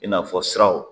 I n'a fɔ siraw